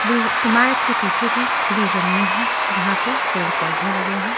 इमारत के पीछे भी खुली जमीन है जहां पे पेड़-पौधे लगे हैं।